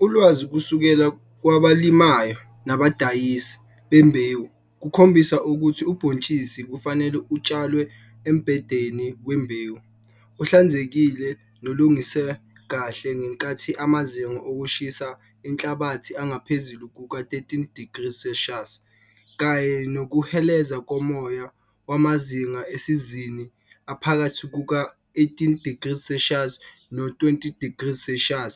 Ulwazi kusukela kwabalimayo nabadayisi bembewu kukhombisa ukuthi ubhontshisi kufanele utshalwe embhedeni wembewu ohlanzekile nolungiswe kahle ngenkathi amazinga okushisa enhlabathi engaphezulu kuka13degrees Celsius kanye nokuheleza komoya wwamazinga esizini aphakathi kuka-18degrees Celsius no20degrees Celsius